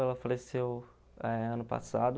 Ela faleceu eh ano passado.